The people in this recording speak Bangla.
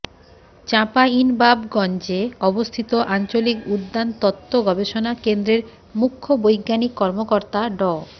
চাঁপাইনবাবগঞ্জে অবস্থিত আঞ্চলিক উদ্যান তত্ত্ব গবেষণা কেন্দ্রের মুখ্য বৈজ্ঞানিক কর্মকর্তা ড